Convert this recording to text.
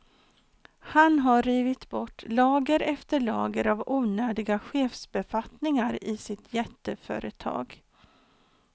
Han har rivit bort lager efter lager av onödiga chefsbefattningar i sitt jätteföretag.